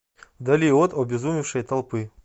вдали от обезумевшей толпы